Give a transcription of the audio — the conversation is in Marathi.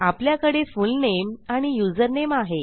आपल्याकडे फुलनेम आणि युझरनेम आहे